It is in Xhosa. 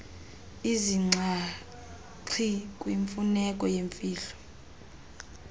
izinxaxhi kwimfuneko yemfihlo